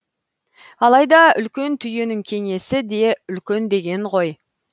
алайда үлкен түйенің кеңесі де үлкен деген ғой